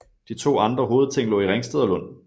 De to andre hovedting lå i Ringsted og Lund